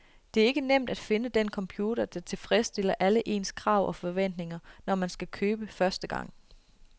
Det er ikke nemt at finde den computer, der tilfredsstiller alle ens krav og forventninger, når man skal købe første gang.